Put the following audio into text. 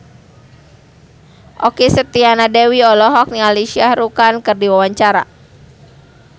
Okky Setiana Dewi olohok ningali Shah Rukh Khan keur diwawancara